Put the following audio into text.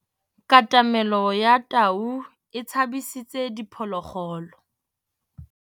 Katamêlô ya tau e tshabisitse diphôlôgôlô.